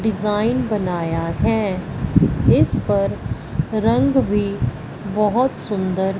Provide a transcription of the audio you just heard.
design बनाया है इस पर रंग भी बहोत सुंदर--